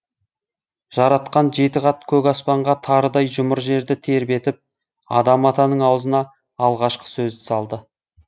жаратқан жеті қат көк аспанға тарыдай жұмыр жерді тербетіп адам атаның аузына алғашқы сөзді салды